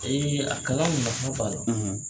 a kalan